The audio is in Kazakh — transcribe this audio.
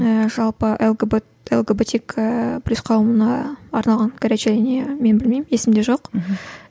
ыыы жалпы лгбт лгбтик ііі плюс қауымына арналған горячая линия мен білмеймін есімде жоқ мхм